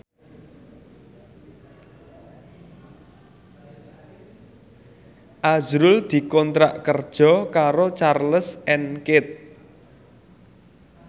azrul dikontrak kerja karo Charles and Keith